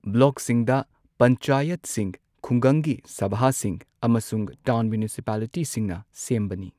ꯕ꯭ꯂꯣꯛꯁꯤꯡꯗ ꯄꯟꯆꯥꯌꯠꯁꯤꯡ ꯈꯨꯡꯒꯪꯒꯤ ꯁꯚꯥꯁꯤꯡ ꯑꯃꯁꯨꯡ ꯇꯥꯎꯟ ꯃ꯭ꯌꯨꯅꯤꯁꯤꯄꯥꯂꯤꯇꯤꯁꯤꯡꯅ ꯁꯦꯝꯕꯅꯤ꯫